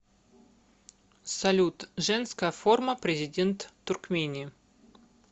салют женская форма президент туркмении